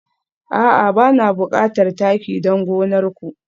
A'a bana bukatar taki don gonar ku